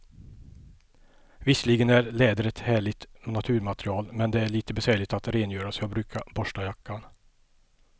Visserligen är läder ett härligt naturmaterial, men det är lite besvärligt att rengöra, så jag brukar borsta jackan.